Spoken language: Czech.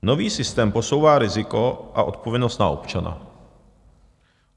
Nový systém posouvá riziko a odpovědnost na občana.